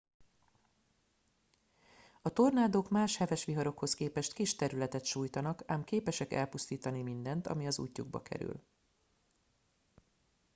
a tornádók más heves viharokhoz képest kis területet sújtanak ám képesek elpusztítani mindent ami az útjukba kerül